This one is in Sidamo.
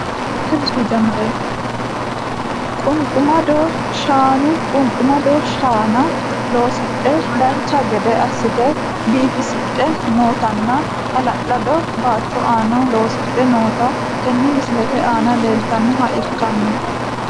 Qunqumadda shaana qunqqumadda shaana loosidhe dancha gedde asite biifisidhe nootanna hala`lado baato aana loosidhe noota tene misilete aana leeltanoha ikano.